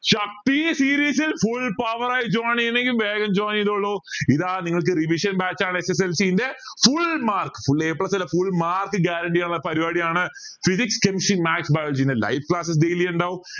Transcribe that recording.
ഈ series ൽ full power ആയി join ചെയണെങ്കി വേഗോ join ചെയ്തോളു ഇതാ നിങ്ങൾക്ക് revision batch ആണ് SSLC ന്റെ full mark full a plus അല്ല full mark guarantee ചെയ്യണ പരിവാടിയാണ് physics chemistry maths biology ന്റെ live classes daily ഇണ്ടാവും